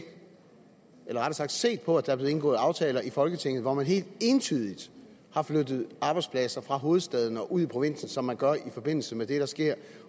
eller rettere sagt set på at der er blevet indgået aftaler i folketinget hvor man helt entydigt har flyttet arbejdspladser fra hovedstaden og ud i provinsen som man gør i forbindelse med det der sker